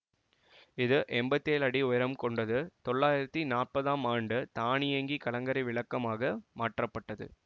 இது எம்பத்தி ஏழு அடி உயரம் கொண்டது தொள்ளாயிரத்தி நாப்பதாம் ஆண்டு தானியங்கி கலங்கரை விளக்கமாக மாற்றப்பட்டது